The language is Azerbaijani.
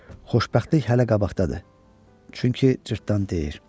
Xoşbəxtlik hələ qabaqdadır, çünki cırtdan deyir.